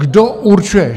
Kdo určuje?